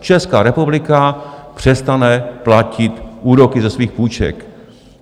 Česká republika přestane platit úroky ze svých půjček.